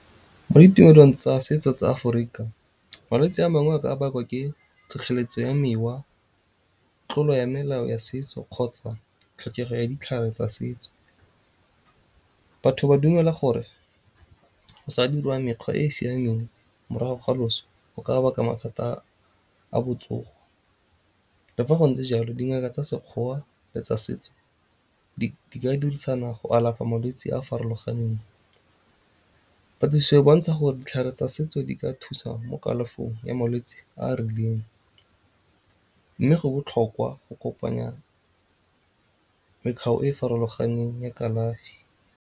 Mo ditumelong tsa setso tsa Aforika malwetsi a mangwe a ka bakwa ke tlhotlheletso ya mewa, tlolo ya melao ya setso kgotsa tlhokego ya ditlhare tsa setso. Batho ba dumela gore go sa dirwa mekgwa e e siameng morago ga loso go ka baka mathata a botsogo. Le fa go ntse jalo dingaka tsa Sekgowa le tsa setso di ka dirisana go alafa malwetsi a a farologaneng. Patlisiso e bontsha gore ditlhare tsa setso di ka thusa mo kalafong ya malwetsi a a rileng, mme go botlhokwa go kopanya e e farologaneng ya kalafi.